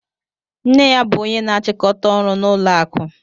Nne ya bụ ónyé na-achikọta ọrụ n'ụlọ akụ.